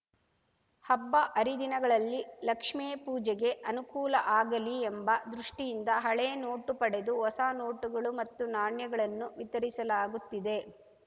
ಹಬ್ಬ ಹರಿದಿನಗಳಲ್ಲಿ ಲಕ್ಷ್ಮೇ ಪೂಜೆಗೆ ಅನುಕೂಲ ಆಗಲಿ ಎಂಬ ದೃಷ್ಠಿಯಿಂದ ಹಳೆ ನೋಟು ಪಡೆದು ಹೊಸ ನೋಟುಗಳು ಮತ್ತು ನಾಣ್ಯಗಳನ್ನು ವಿತರಿಸಲಾಗುತ್ತಿದೆ